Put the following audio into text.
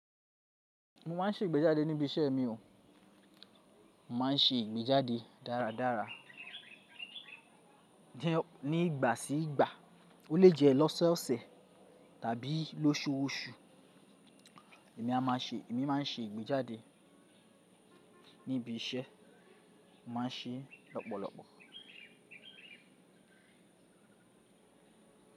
Mo máa se ìgbéjáde níbè isé mi o mo máa se ìgbéjáde dáradára. Ni ìgbà sí ìgbà, ó lè jẹ́ lọ́sọ̀ọ̀sẹ̀ tàbí lóṣùọ́ṣù. Ni a máa se ni èmi máa se ìgbéjáde níbè isé mo máa se lópòlópò.